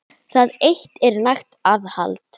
Það eitt er nægt aðhald.